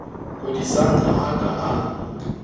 kodisang ha a ka a